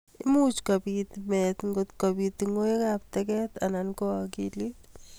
Imuch kobit meet ngotkobit tungwek ab teget anan ko akilit.